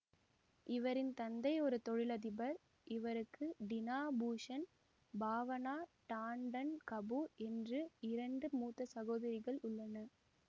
இவரின் தந்தை ஒரு தொழிலதிபர் இவருக்கு டினா பூஷன் பாவனா டாண்டன் கபூர் என்று இரண்டு மூத்த சகோதரிகள் உள்ளன